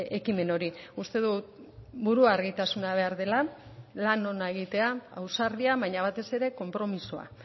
ekimen hori uste dut buru argitasuna behar dela lan ona egitea ausardia baina batez ere konpromisoa